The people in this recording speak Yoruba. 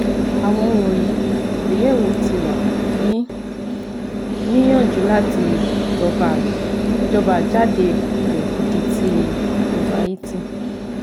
Awọn wọnyi igbeyewo ti wa ni niyanju lati jọba jọba jade rẹ idi ti overeating